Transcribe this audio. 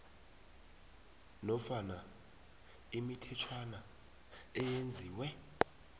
nofana imithetjhwana eyenziwe